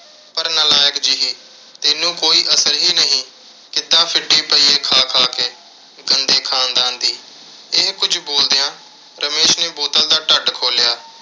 ਪਰ ਨਾਲਾਇਕ ਜਿਹੀ ਤੈਨੂੰ ਕੋਈ ਅਸਰ ਹੀ ਨਹੀਂ। ਕਿੱਦਾਂ ਪਈ ਏ ਖਾ ਖਾ ਕੇ, ਗੰਦੇ ਖਾਨਦਾਨ ਦੀ। ਇਹ ਕੁਝ ਬੋਲਦਿਆਂ ਰਮੇਸ਼ ਨੇ ਬੋਤਲ ਦਾ ਢੱਟ ਖੋਲ੍ਹਿਆ